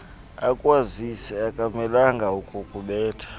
akwazise akamelanga kukubetha